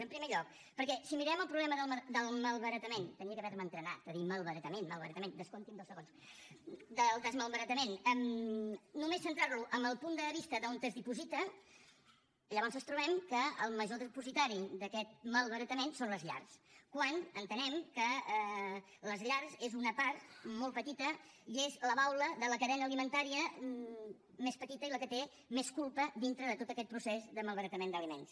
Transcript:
en primer lloc perquè si mirem el problema del malbaratament hauria d’haverme entrenat a dir malbaratament malbaratament descompti’m dos segons només centrantlo en el punt de vista d’on es diposita llavors ens trobem que el major dipositari d’aquest malbaratament són les llars quan entenem que les llars és una part molt petita i és la baula de la cadena alimentària més petita i la que té menys culpa dintre de tot aquest procés de malbaratament d’aliments